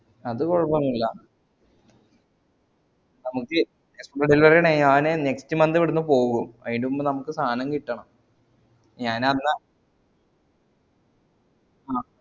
അത് കൊയപ്പൊന്നൂല്ല നമുക്ക് delivery ഞാൻ next month ഇവ്ട്ന്ന് പോകും അയിന് മുമ്പ് നമുക്ക് സാധനം കിട്ടണം ഞാൻ അന്നാ ആഹ്